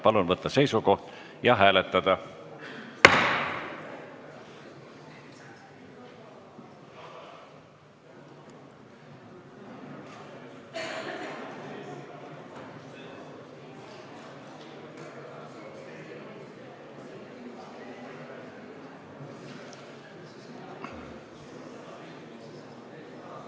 Palun võtta seisukoht ja hääletada!